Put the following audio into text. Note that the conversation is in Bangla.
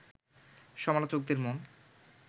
সমালোচকদের মন